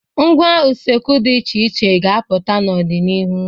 Ngwá usekwu dị iche iche ga-apụta n'ọdịnihu.